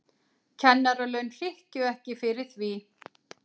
Kennaralaun hrykkju ekki fyrir því.